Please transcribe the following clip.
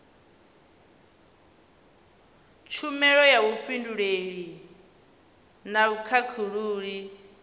tshumelo ya vhufhinduleli na vhukhakhulili